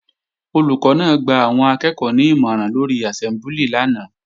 Olùkọ́ náà gba àwọn akẹ́ẹ̀kọ́ ní ìmọ̀ràn lórí àsẹ́mbúlì lánàá